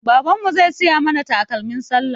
Baban mu zai siya mana takalmin sallah